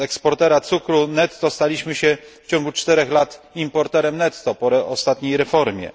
Z eksportera cukru netto staliśmy się w ciągu 4 lat importerem netto po ostatniej reformie.